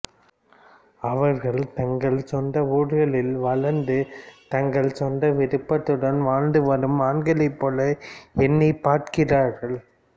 அவர்கள் தங்கள் சொந்த ஊர்களில் வளர்ந்து தங்கள் சொந்த விருப்பத்துடன் வாழ்ந்து வரும் ஆண்களைப் போல என்னைப் பார்க்கிறார்கள்